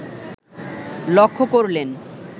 লক্ষ্য করলেন